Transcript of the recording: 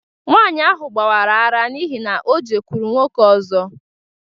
Nwanyị ahụ gbawara ara n’ihi na O jekwuru nwoke ọzọ.